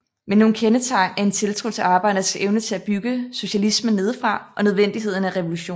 Men nogle kendetegn er en tiltro til arbejdernes evne til at bygge socialismen nedefra og nødvendigheden af revolution